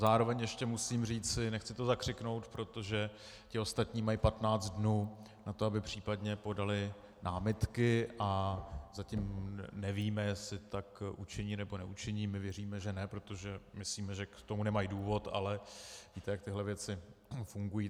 Zároveň ještě musím říci - nechci to zakřiknout, protože ti ostatní mají 15 dnů na to, aby případně podali námitky, a zatím nevíme, jestli tak učiní, nebo neučiní, my věříme, že ne, protože myslíme, že k tomu nemají důvod, ale víte, jak tyhle věci fungují.